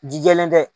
Ji jɛlen tɛ